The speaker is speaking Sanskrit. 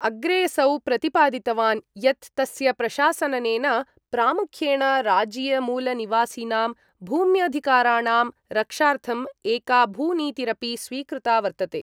अग्रेसौ प्रतिपादितवान् यत् तस्य प्रशासननेन प्रामुख्येण राज्यीयमूलनिवासिनां भूम्यधिकाराणां रक्षार्थं एका भूनीतिरपि स्वीकृता वर्तते।